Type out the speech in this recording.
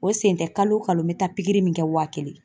O sen tɛ kalo o kalo n bɛ taa pikiri min kɛ waa kelen.